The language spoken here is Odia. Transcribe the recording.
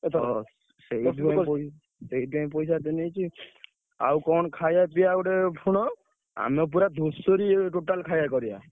ଓହୋ, ସେଇଥିପାଇଁ ପଇସା ଏତେ ନେଇଚି। ଆଉ କଣ ଖାଇବା ପିଇବା ଗୋଟେ ଶୁଣ ଆମେ ପୁରା ଧୁସୁରୀ total ଖାଇବା କରିବା ।